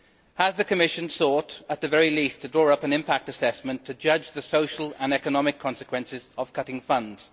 Has the Commission thought, at the very least, to draw up an impact assessment to judge the social and economic consequences of cutting funds?